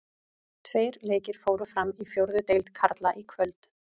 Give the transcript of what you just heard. Tveir leikir fóru fram í fjórðu deild karla í kvöld.